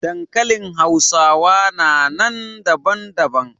Dankalin hausawa na nan daban daban.